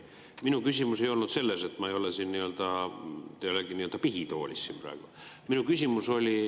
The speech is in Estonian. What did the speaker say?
Minu küsimus ei olnud selle kohta, te ei ole siin nii-öelda pihitoolis praegu.